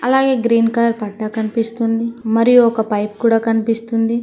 అలాగే green colour పట్టా కనిపిస్తుంది మరియు ఒక పైప్ కూడా కనిపిస్తుంది.